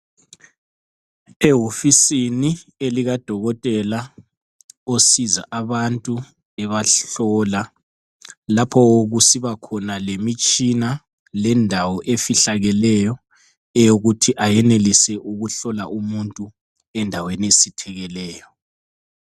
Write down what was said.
Ehofisini elikadokotela osiza abantu ebahlola lapho kusibakhona lemitshina lendawo efihlakeleyo eyokuthi ayenelise ukuhlola umuntu endaweni esithekileyo.